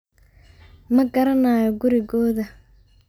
Magarayo kurigodha.